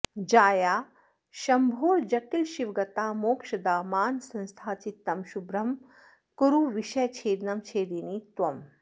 जाया शम्भोर्जटिलशिवगता मोक्षदा मानसंस्था चित्तं शुभ्रं कुरु विषयछेदनं छेदिनि त्वम्